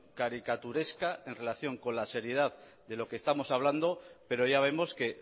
caricaturesca en relación con la seriedad de lo que estamos hablando pero ya vemos que